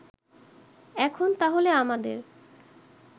এখন তাহলে আমাদের